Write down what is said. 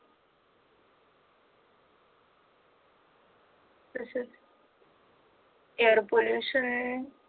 air pollution